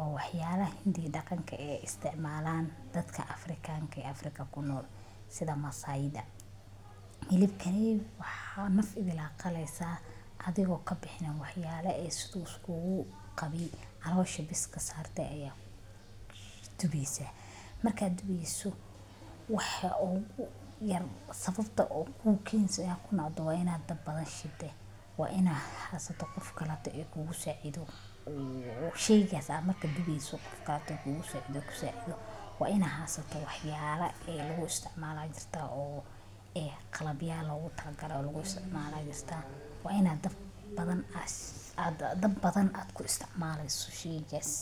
oo waxyaabaha intii dhaqanka ee isticmaalaan dadka afrikaanka ee africa ku nool sida masayda, hilibkanay naf idil aa qalaysaa adigoo ka bixin waxyaalo ay iskugu qabin calosha bes ka saartay ayaa tubeysaa markaad tubeyso waxi ogu yar sababta uu keensay haku nocda waa inaad dad badan waa inaan xaasato qof kale ee kugu saacido u sheegaysaa maka dhigayso dhaqaato guusha iyo waa ina xaasato waxyaalo ee lagu isticmaalayo aa jirtaa oo ee qalab yaa loogu talagala lagu isticmaalaystaa waa inay daab badan aa ku isticmaleysosheygas.